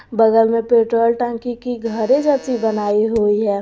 बगल में पेट्रोल टंकी की घरे जैसी बनाई हुई हैं।